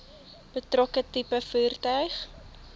betrokke tipe voertuig